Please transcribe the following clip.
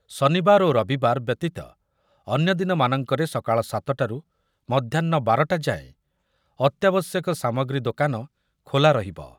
ଶନିବାର ଓ ରବିବାର ବ୍ୟତୀତ ଅନ୍ୟଦିନମାନଙ୍କରେ ସକାଳ ସାତ ଟାରୁ ମଧ୍ୟାହ୍ନ ବାର ଟା ଯାଏଁ ଅତ୍ୟାବଶ୍ଯକ ସାମଗ୍ରୀ ଦୋକାନ ଖୋଲା ରହିବ ।